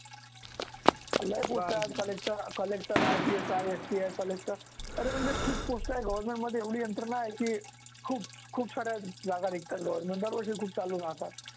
लय गोष्टी आहे collector collectorRTS आहेSPIcollector अरे म्हणजे खूप गोष्ट आहे government मध्ये एवढी यंत्रणा आहे की खूप खूप साऱ्या जागा निघतात government दरवर्षी खूप चालू राहतात.